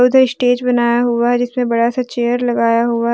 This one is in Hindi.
उधर स्टेज बनाया हुआ है जिसपे बड़ा सा चेयर लगाया हुआ--